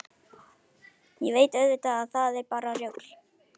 Ég veit auðvitað að það er bara rugl.